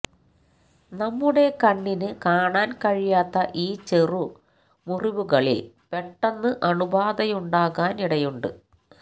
നമ്മുടെ കണ്ണിന് കാണാന് കഴിയാത്ത ഈ ചെറുമുറിവുകളില് പെട്ടെന്ന് അണുബാധയുണ്ടാകാന് ഇടയുണ്ട്